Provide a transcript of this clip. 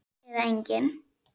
Eða engin?